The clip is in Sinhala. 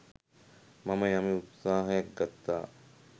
මම යම් උත්සාහයක් ගත්තා.